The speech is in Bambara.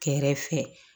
Kɛrɛfɛ